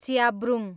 च्याब्रुङ